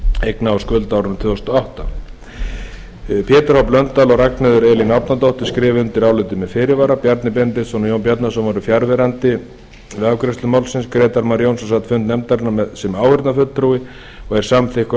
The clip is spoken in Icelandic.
eigna og skulda á árinu tvö þúsund og átta pétur h blöndal og ragnheiður elín árnadóttir skrifa undir álitið með fyrirvara bjarni benediktsson og jón bjarnason voru fjarverandi við afgreiðslu málsins grétar mar jónsson sat fund nefndarinnar sem áheyrnarfulltrúi og er samþykkur